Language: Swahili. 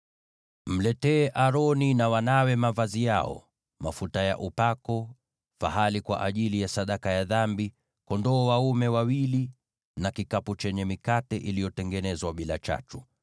“Waletee Aroni na wanawe mavazi yao, mafuta ya upako, fahali kwa ajili ya sadaka ya dhambi, kondoo dume wawili na kikapu chenye mikate iliyotengenezwa bila chachu.